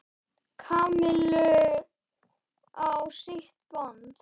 Kamillu á sitt band.